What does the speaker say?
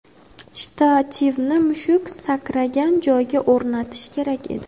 Shtativni mushuk sakragan joyga o‘rnatish kerak edi.